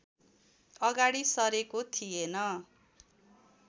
अगाडि सरेको थिएन